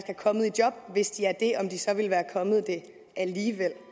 er kommet i job og hvis de er det om de så ville være kommet det alligevel